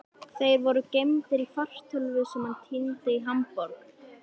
Þeir voru geymdir í fartölvu sem hann týndi í Hamborg.